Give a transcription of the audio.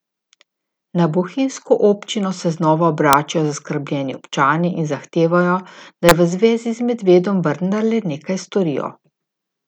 Na bohinjsko občino se znova obračajo zaskrbljeni občani in zahtevajo, naj v zvezi z medvedom vendarle nekaj storijo.